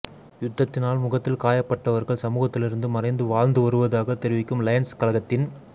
யுத்தத்தினால் முகத்தில் காயப்பட்டவர்கள் சமூகத்திலிருந்து மறைந்து வாழ்ந்து வருவதாக தெரிவிக்கும் லயன்ஸ் கழகத்தின்